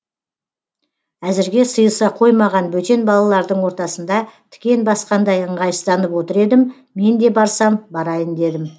әзірге сыйыса қоймаған бөтен балалардың ортасында тікен басқандай ыңғайсызданып отыр едім мен де барсам барайын дедім